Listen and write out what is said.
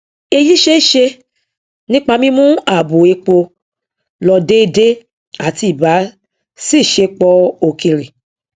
èyí ṣeéṣe nípa mímú ààbò epo lọ déédé àti ìbàṣiṣẹpọ òkèrè